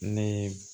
Ne